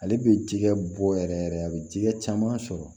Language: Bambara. Ale bɛ jɛgɛ bɔ yɛrɛ yɛrɛ a bɛ jɛgɛ caman sɔrɔ